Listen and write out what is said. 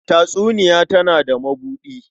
Tatsuniya tana da mabuɗi.